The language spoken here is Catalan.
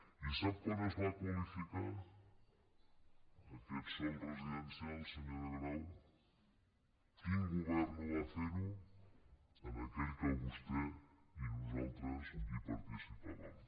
i sap quan es va qualificar aquest sòl residencial senyora grau quin govern ho va fer aquell que vos·tè i nosaltres hi participàvem